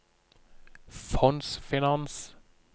fondsfinans